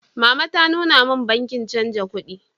Mama ta nuna min bankin chanza kuɗi.